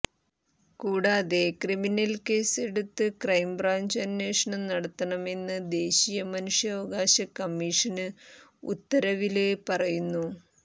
കൂടാതെ criminal case എടുത്ത് crime branch അന്വേഷണം നടത്തണമെന്ന് ദേശീയ മനുഷ്യാവകാശ കമ്മീഷന് ഉത്തരവില് പറയുന്നു